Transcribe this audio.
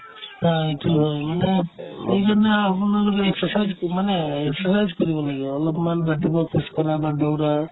আ, এইটো হয় মানে সেইকাৰণে আপোনালোকে exercise মানে exercise কৰিব লাগে অলপমান ৰাতিপুৱা খোজ-কাঢ়া বা দৌৰা